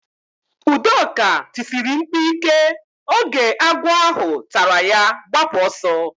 Udoka tisiri mkpu ike oge agwọ ahụ tara ya gbapụ oso